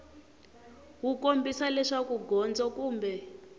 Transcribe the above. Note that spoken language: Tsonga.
wu kombisa leswaku gondzo kumbe